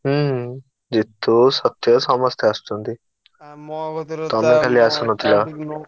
ହୁଁ ଜିତୁ ସତ୍ୟ ସମସ୍ତେ ଆସୁଛନ୍ତି। ।